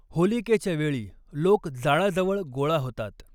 होलिकेच्या वेळी लोक जाळाजवळ गोळा होतात.